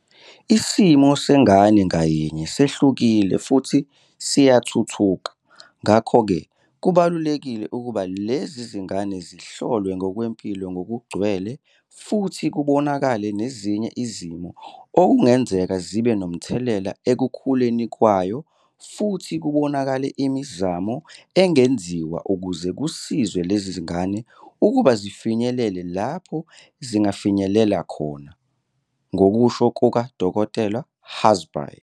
"Isimo sengane ngayinye sehlukile futhi siyathuthuka, ngakho-ke kubalulekile ukuba lezi ngane zihlolwe ngokwempilo ngokugcwele futhi kubonakale nezinye izimo okungenzeka zibe nomthelela ekukhuleni kwayo futhi kubonakale imizamo engenziwa ukuze kusizwe lezingane ukuba zifinyelele lapho zingafinyelela khona," ngokusho kuka-Dkt. hazbhay.